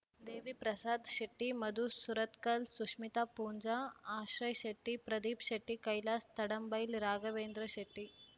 Deviprasad Shetty Madhu Surathkal Sushmith Poonja Ashray Shetty Pradeep Shetty Kailas Tadambail Raghavendra Shetty